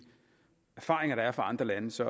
erfaringer der er fra andre lande så